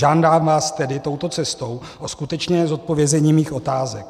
Žádám vás tedy touto cestou o skutečné zodpovězení mých otázek.